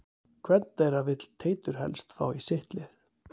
Hvern þeirra vill Teitur helst fá í sitt lið?